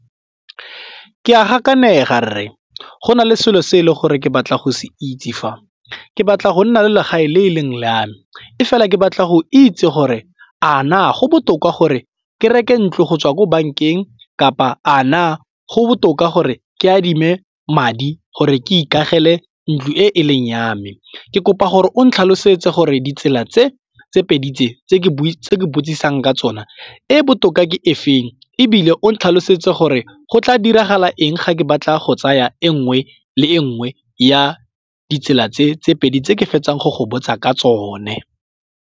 Ke a gakanega rre go na le selo se e leng gore ke batla go se itse fa, ke batla go nna le legae le e leng la me, e fela ke batla go itse gore a na a go botoka gore ke reke ntlo go tswa ko bankeng kapa a na go botoka gore ke adime madi gore ke ikagele ntlo e e leng yame. Ke kopa gore o ntlhalosetse gore ditsela tse pedi tse tse ke buisitse ke botsisa eng ka tsona e botoka ke e feng ebile o tlhalosetse gore go tla diragala eng ga ke batla go tsaya e nngwe le e nngwe ya ditsela tse tse pedi tse ke fetsang go go botsa ka tsone.